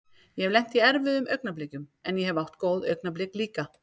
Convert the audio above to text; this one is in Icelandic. Ég hef lent í erfiðum augnablikum en ég hef átt góð augnablik líka.